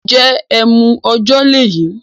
N jẹ́ ẹmu ọ̀jọ́ lèyí?